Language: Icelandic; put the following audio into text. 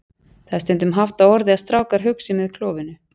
Það er stundum haft á orði að strákar hugsi með klofinu.